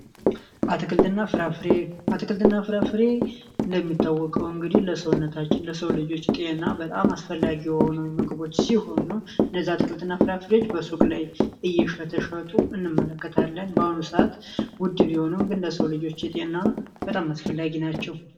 አትክልትና ፍራፍሬ አትክልትና ፍራፍሬ እንደሚታወቀው እንግዲህ ለሰውነታችን ለሰው ልጆች ጤና በጣም አስፈላጊ የሆኑ ምግቦች ሲሆኑ እየሸጡ እንመለከታለን በአሁኑ ሰአት ውድ ቢሆንም ለሰው ልጆቼና በጣም አስፈላጊ ናቸው